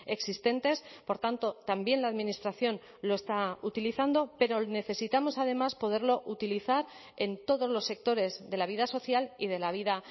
existentes por tanto también la administración lo está utilizando pero necesitamos además poderlo utilizar en todos los sectores de la vida social y de la vida